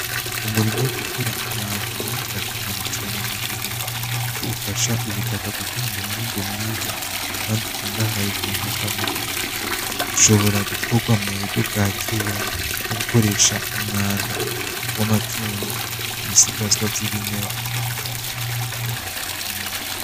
Umurima wo gukora umwavu nuwingirakamaro cane muburimyi kuko ufasha gutanga umwimbu mwiza kandi ukungahye muburyo bwa ntugamubiri , ushobora gukorwa muburyo bwakera nogukoresha umwanda wamatungo, ibisigazwa vyibimera.